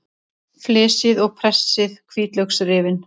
Flysjið og pressið hvítlauksrifin.